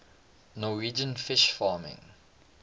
norwegian fish farming